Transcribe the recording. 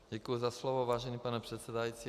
Děkuji za slovo, vážený pane předsedající.